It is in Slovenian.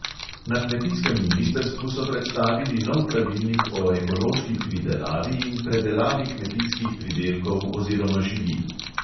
Na kmetijskem ministrstvu so predstavili nov pravilnik o ekološki pridelavi in predelavi kmetijskih pridelkov oziroma živil.